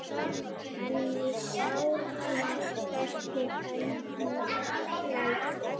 Henni sárnar hvernig Hemmi lætur.